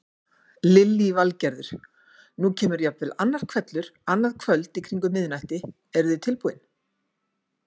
Lillý Valgerður: Nú kemur jafnvel annar hvellur annað kvöld í kringum miðnætti, eru þið tilbúin?